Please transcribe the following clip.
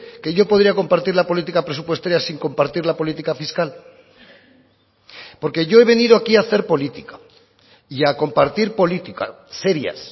que yo podría compartir la política presupuestaria sin compartir la política fiscal porque yo he venido aquí a hacer política y a compartir políticas serias